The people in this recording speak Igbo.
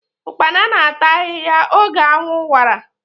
Ụkpana na-ata ahiahia oge anwụ wara.